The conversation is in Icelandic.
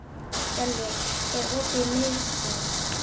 Gellir, er opið í Miðeind?